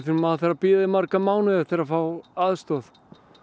maður þarf að bíða í marga mánuði eftir að fá aðstoð